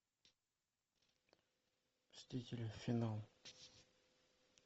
мстители финал